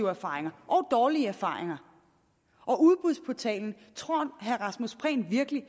erfaringer og dårlige erfaringer og tror herre rasmus prehn virkelig at